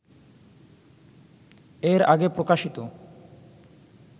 এর আগে প্রকাশিত